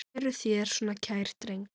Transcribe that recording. Eruð þér svona kær drengur?